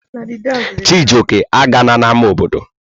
Chijioke, agala n'ámá obodo!